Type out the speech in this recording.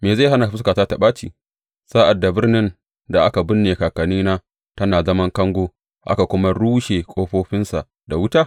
Me zai hana fuskata ta ɓaci, sa’ad da birnin da aka binne kakannina tana zaman kango, aka kuma rushe ƙofofinsa da wuta?